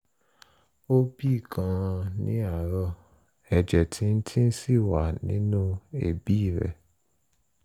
ó bì gan-an ní àárọ̀ ẹ̀jẹ̀ tíntìntín sì wà nínú èébì rẹ̀